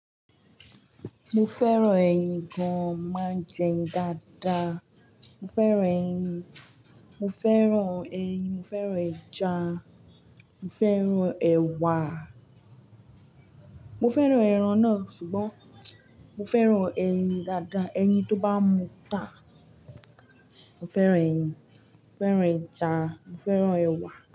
Mo fẹ́ràn ẹyin gan, máa ń jẹ ẹyin dáadáa. Mo fẹ́ràn ẹyin, mo fẹ́ràn ẹyin, mo fẹ́ràn ẹja, mo fẹ́ràn ẹ̀wà. Mo fẹ́ràn ẹran náà ṣùgbọ́n mo fẹ́ràn ẹyin dáadáa. Eyin tó bá mú ta. Mo fẹ́ràn ẹyin, mo fẹ́ràn ẹja, mo fẹ́ràn ẹ̀wà.